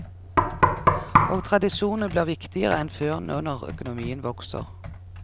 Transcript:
Og tradisjonene blir viktigere enn før nå når økonomien vokser.